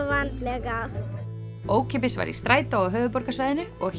vandlega ókeypis var í strætó á höfuðborgarsvæðinu og